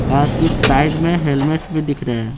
हां कुछ साइड में हेलमेट्स भी दिख रहे हैं।